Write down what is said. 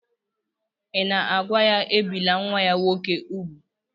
Ị̀ na-agwa ya, ebìla nwa ya nwoke úgwù?